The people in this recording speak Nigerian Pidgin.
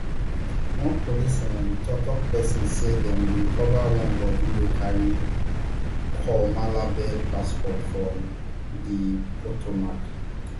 one police um toktok pesin say dem recover one body wey carry col malabed passport from di potomac